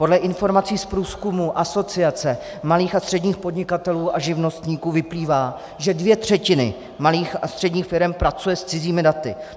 Podle informací z průzkumu Asociace malých a středních podnikatelů a živnostníků vyplývá, že dvě třetiny malých a středních firem pracují s cizími daty.